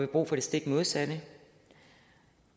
brug for det stik modsatte